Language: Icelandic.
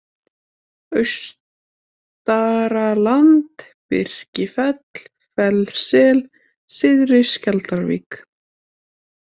Austaraland, Birkifell, Fellssel, Syðri-Skjaldarvík